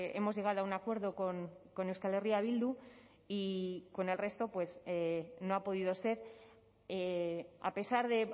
hemos llegado a un acuerdo con euskal herria bildu y con el resto no ha podido ser a pesar de